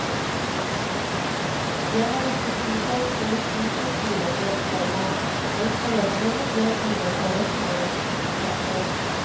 Jeg har ikke tro på politi på skolene, komma men foreldrene bør engasjeres mer. punktum